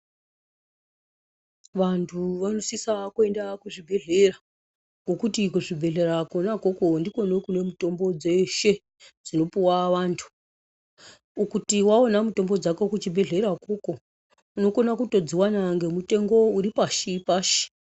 Vantu vanosisa kuenda kuzvibhedhlera ngokuti kuzvibhedhlera kona ukoko ndikona kune mutombo dzeshe dzinopuwa wantu kuti waona mutombo dzako kuchibhedhlera ukoko unokona kutodziwana ngemutengo uri pashi pashi.